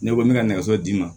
Ne ko n bɛ ka nɛgɛso d'i ma